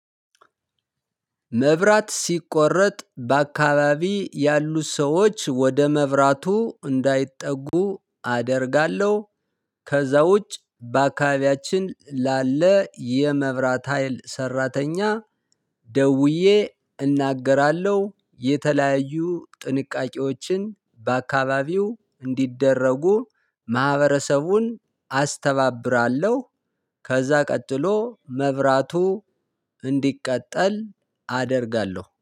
መብራት ሲቆረጥ በአካባቢ ያሉ ሰዎች ወደ መብራቱ እንዳይጠጉ አደርጋለሁ። ከዛ ውጭ በአካባቢያችን ላለ የመብራት ሀይል ሰራተኛ። ደውዬ እናገራለሁ የተለያዩ ጥንቃቄዎችን በአካባቢው እንዲደረጉ ማህበረሰቡን አስተባብራለሁ። ከዛ ቀጥሎ መብራቱ እንዲቀጠል አደርጋለሁ